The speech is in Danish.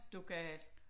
Du gal